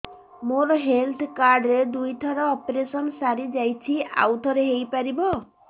ମୋର health card ରେ ଦୁଇ ଥର ଅପେରସନ ସାରି ଯାଇଛି ଆଉ ଥର ହେଇପାରିବ